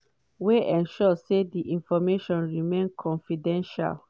wey ensure say di information remain confidential.